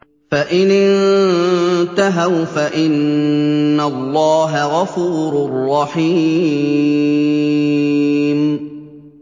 فَإِنِ انتَهَوْا فَإِنَّ اللَّهَ غَفُورٌ رَّحِيمٌ